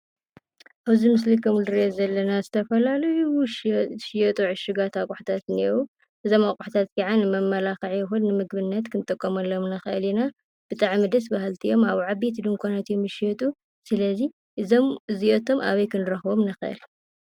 እዚ ምስሊ ከም እንሪኦ ዘለና ዝተፈላላዩ ዝሽየጡ እሽጋት ኣቁሑት እንሂው ። እዞም ኣቁታት ከዓ ንመመላኽዒ ይኹን ንምግብነት ክንጥቀመሎም ንኽእል ኢና። ብጣዓሚ ደስ በሃልቲ እዮም። ኣብ ዓበይቲ ዱንኳናት እዮም ዝሽየጡ ። ስለ እዚ እዞም እዚኣቶም ኣበይ ክንርኽቦም ንኽእል?